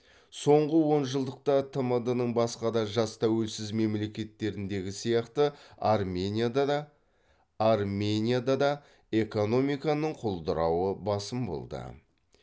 соңғы онжылдықта тмд ның басқа да жас тәуелсіз мемлекеттеріндегі сияқты арменияда да экономиканың құлдырауы басым болды